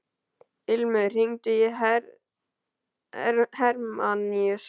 Ilmur, hringdu í Hermanníus.